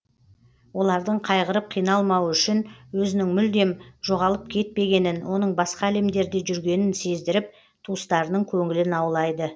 олардың қайғырып қиналмауы үшін өзінің мүлдем жоғалып кетпегенін оның басқа әлемдерде жүргенін сездіріп туыстарының көңілін аулайды